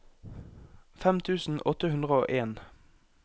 fem tusen åtte hundre og en